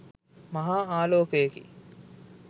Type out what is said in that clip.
මහා ආලෝකයකි